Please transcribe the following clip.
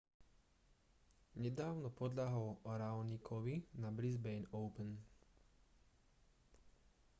nedávno podľahol raonicovi na brisbane open